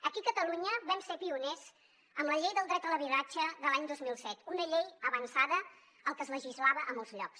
aquí a catalunya vam ser pioners amb la llei del dret a l’habitatge de l’any dos mil set una llei avançada al que es legislava a molts llocs